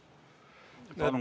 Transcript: Palun!